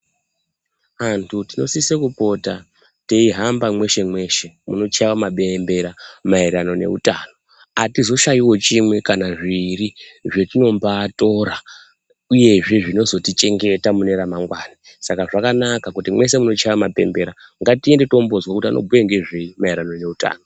Vantu tinosise kupota teihamba mweshe-mweshe munochaiwe mabembera maererano neutano. Atizoshaiwo chimwe, kana zviiri zvetinombaatora ,uyezve zvinozotichengeta mune ramangwana. Saka zvakanaka kuti mwese munochaiwa mabembera, ngatiende tombooozwa kuti anombobhuya ngezvei maererano neutano.